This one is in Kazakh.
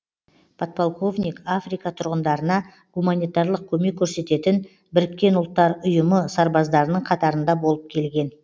подполковник африка тұрғындарына гуманитарлық көмек көрсететін біріккен ұлттар ұйымы сарбаздарының қатарында болып келген